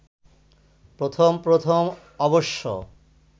প্রথম প্রথম অবশ্য